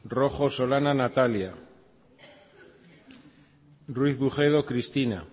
rojo solana natalia ruiz bujedo cristina